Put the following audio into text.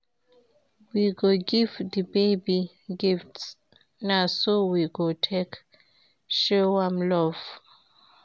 We go give di baby gifts, na so we go take show am love.